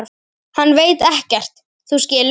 Hann veit ekkert. þú skilur.